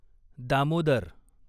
Damodar